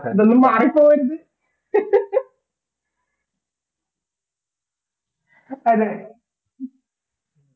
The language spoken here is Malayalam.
ഇതൊന്നും മാറിപ്പോകരുത് അതെ